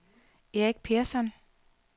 Erik Persson